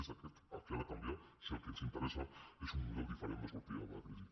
és aquest el que ha de canviar si el que ens interessa és un model diferent de sortida de la crisi